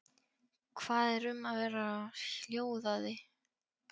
Hvað er um að vera hljóðaði